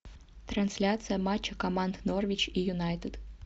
трансляция матча команд норвич и юнайтед